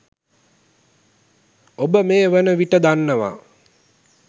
ඔබ මේ වන විට දන්නවා